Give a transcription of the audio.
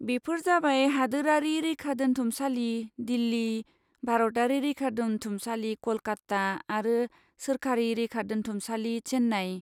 बेफोर जाबाय हादोरारि रैखादोन्थुमसालि दिल्ली, भारतारि रैखादोन्थुमसालि कलकाता आरो सोरखारि रैखादोन्थुमसालि चेन्नई।